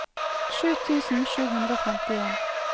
sju tusen sju hundre og femtien